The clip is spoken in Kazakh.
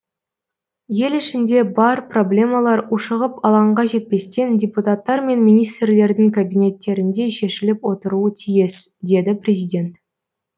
ел ішінде бар проблемалар ушығып алаңға жетпестен депутаттар мен министрлердің кабинеттерінде шешіліп отыруы тиіс деді президент